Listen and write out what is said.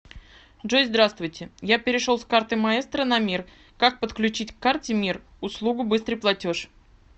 джой здравствуйте я перешел с карты маестро на мир как подключить к карте мир услугу быстрый платеж